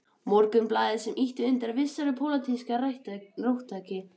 Morgunblaðinu, sem ýtti undir vissa pólitíska róttækni.